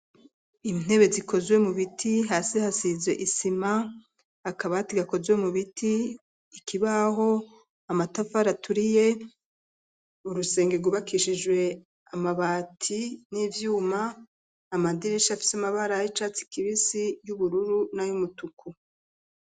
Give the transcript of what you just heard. Intebe zikozwe mu biti hasi hasize isima akabati gakozwe mu biti, ikibaho, amatafari aturiye urusenge rwubakishijwe amabati n'ivyuma amadirisha afise amabara y'icatsi kibisi, y'ubururu na y'umutuku.